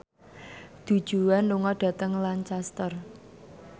Du Juan lunga dhateng Lancaster